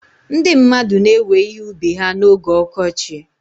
Ndị mmadụ na-ewe ihe ubi ha na oge ọkọchị.